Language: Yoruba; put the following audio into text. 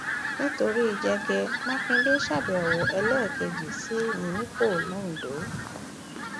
nítorí jẹgẹ mákindè ṣàbẹwò ẹlẹẹkejì sí mímíkọ londo